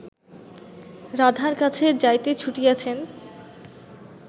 রাধার কাছে যাইতে ছুটিয়াছেন